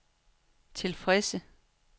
tilfredse